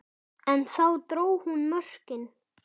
En þar dró hún mörkin.